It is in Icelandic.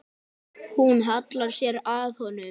Hún hallar sér að honum.